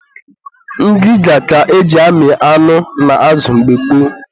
ngịga ka e ji amị anụ na azụ mgbe gboo.